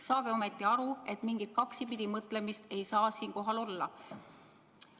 Saage ometi aru, et mingit kaksipidi mõtlemist ei saa siin olla.